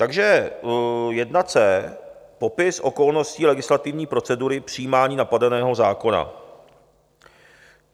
Takže I. C) Popis okolností legislativní procedury přijímání napadeného zákona.